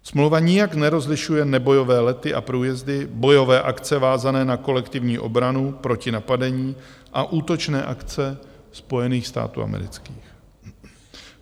Smlouva nijak nerozlišuje nebojové lety a průjezdy, bojové akce vázané na kolektivní obranu proti napadení a útočné akce Spojených států amerických.